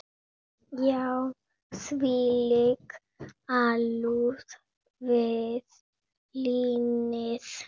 Já, þvílík alúð við línið.